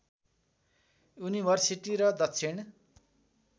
university र दक्षिण